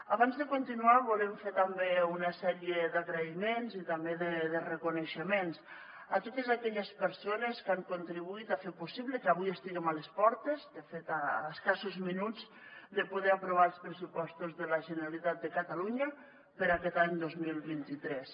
abans de continuar volem fer també una sèrie d’agraïments i també de reconeixements a totes aquelles persones que han contribuït a fer possible que avui estiguem a les portes de fet a escassos minuts de poder aprovar els pressupostos de la generalitat de catalunya per a aquest any dos mil vint tres